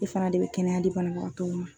E fana de bɛ kɛnɛya di banabagatɔw ma.